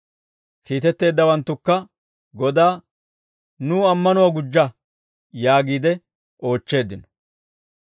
Kiitetteeddawanttukka Godaa, «Nuw ammanuwaa gujja» yaagiide oochcheeddino.